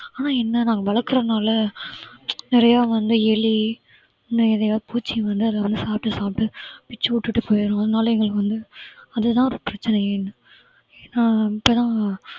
ஆனா என்ன நாங்க வளர்க்கறதுனால நிறைய வந்து எலி இன்னும் எதையா பூச்சி வந்து அத வந்து சாப்பிட சாப்பிட பிச்சி விட்டுட்டு போயிடும் அதனால எங்களுக்கு வந்து அதுதான் பிரச்சனையே ஏன்னா